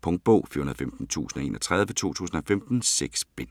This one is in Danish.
Punktbog 415031 2015. 6 bind.